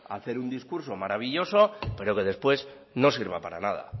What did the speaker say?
hacer un discurso maravilloso pero que después no sirva para nada